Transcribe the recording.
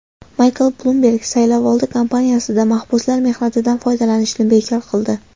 Maykl Blumberg saylovoldi kampaniyasida mahbuslar mehnatidan foydalanishni bekor qildi.